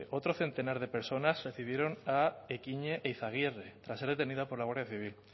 otro centenar de personas recibieron a ekhine eizagirre tras ser detenida por la guardia civil